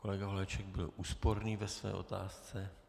Kolega Holeček byl úsporný ve své otázce.